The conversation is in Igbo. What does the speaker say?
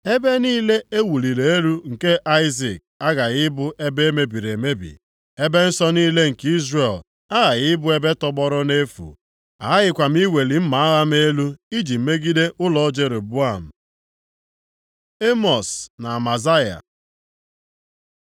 “Ebe niile e wuliri elu nke Aịzik aghaghị ịbụ ebe e mebiri emebi, ebe nsọ niile nke Izrel aghaghị ịbụ ebe tọgbọrọ nʼefu, aghakwaghị m iweli mma agha m elu iji megide ụlọ Jeroboam.” Emọs na Amazaya